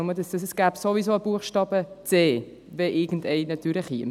Es gäbe also ohnehin einen Buchstaben c, wenn irgendeiner durchkommen würde.